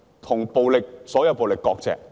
與所有暴力割席。